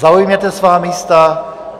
Zaujměte své místa.